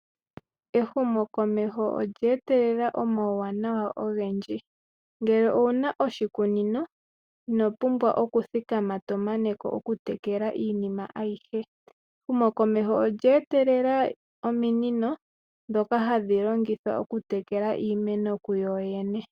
Ehumokomeho olya etelela omuwanawa ogendji, ngele owu na oshikunino inopumbwa okuthikama to mana ko okutekela iimeno ayihe. Ehumokomeho olya etelela ominino ndhoka hadhilongithwa okutekela iimeno kuyoyene.